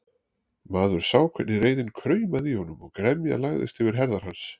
Maður sá hvernig reiðin kraumaði í honum og gremjan lagðist yfir herðar hans.